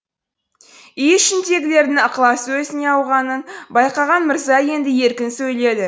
үй ішіндегілердің ықыласы өзіне ауғанын байқаған мырза енді еркін сөйледі